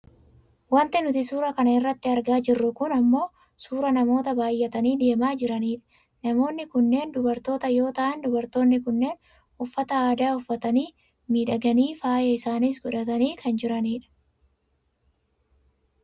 Wanti nuti suura kana irratti argaa jirru kun ammoo suuraa namoota baayyatanii deemaa jiraniidha. Namoonni kunneen dubartoota yoo ta'an dubartoonni kunneen uffata aadaa uffatanii miidhaganii faaya isaaniis godhatanii kan jiranidha.